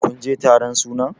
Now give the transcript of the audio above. kun je taron sunan!